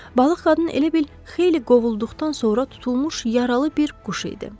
Balıq qadın elə bil xeyli qovulduqdan sonra tutulmuş yaralı bir quş idi.